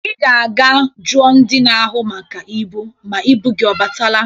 Ị ga-aga jụọ ndị na-ahụ maka ibu ma ibu gị ọ batala.